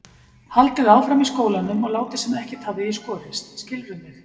Haldið áfram í skólanum og látið sem ekkert hafi í skorist, skilurðu mig?